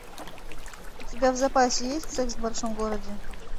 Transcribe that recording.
у тебя в запасе есть секс в большом городе